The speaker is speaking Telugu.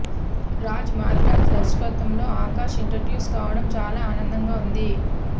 రాజ్ మాదిరాజ్ దర్శకత్వంలో ఆకాష్ ఇంట్రడ్యూస్ కావడం చాలా ఆనందంగా ఉంది